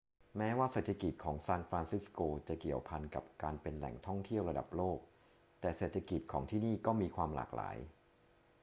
แม้ว่าเศรษฐกิจของซานฟรานซิสโกจะเกี่ยวพันกับการเป็นแหล่งท่องเที่ยวระดับโลก แต่เศรษฐกิจของที่นี่ก็มีความหลากหลาย